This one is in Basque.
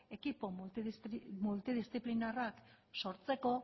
ekipo miltudisziplinarrak sortzeko